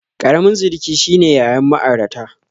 Ƙaramin sirki shine yayan ma'airata